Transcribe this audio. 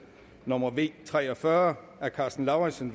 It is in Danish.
nummer v tre og fyrre af karsten lauritzen